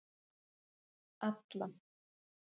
Alla